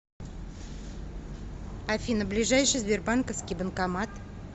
афина ближайший сбербанковский банкомат